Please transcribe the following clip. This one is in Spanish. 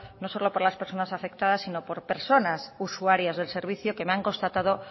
no solo por las personas afectadas sino por personas usuarias del servicio que me han constatado